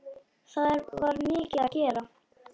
Það var mikið að gera.